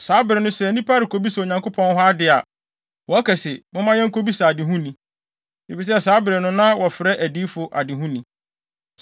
(Saa bere no, sɛ nnipa rekobisa Onyankopɔn hɔ ade a, wɔka se, “Momma yenkobisa adehuni” efisɛ saa bere no na wɔfrɛ adiyifo adehuni.)